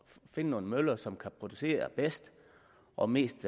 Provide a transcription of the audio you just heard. finde nogle møller som kan producere bedst og mest